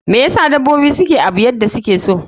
Me know asa dabobi suke Abu yadda sukeyi?